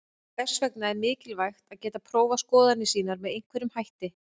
Þess vegna er mikilvægt að geta prófað skoðanir sínar með einhverjum hætti.